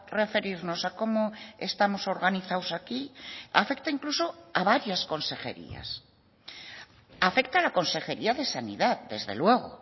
referirnos a cómo estamos organizados aquí afecta incluso a varias consejerías afecta a la consejería de sanidad desde luego